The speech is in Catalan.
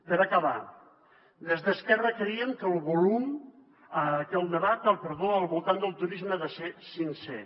per acabar des d’esquerra creiem que el debat al voltant del turisme ha de ser sincer